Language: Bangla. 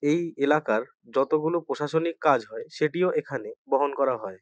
এই এলাকার যতগুলি প্রশাসনিক কাজ হয় সেটিও এখানে বহন করা হয়।